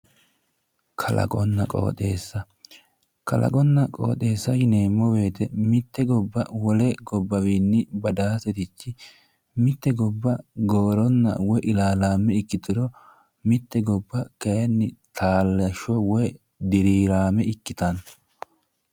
Kalaqonna qooxeessa, kalaqonna qooxeessa yineemmo woyte mitte gobba wole gobbawiinni badaansari, mitte gobba gooronna ilaalaame ikkituro mitte gobba kayiinni taalashsho woy diraame ikkitanno